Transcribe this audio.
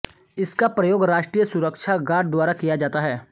इसका प्रयोग राष्ट्रीय सुरक्षा गार्ड द्वारा किया जाता है